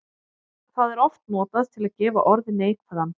Það er oft notað til að gefa orði neikvæðan blæ.